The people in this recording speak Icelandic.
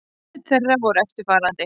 Úrslit þeirra voru eftirfarandi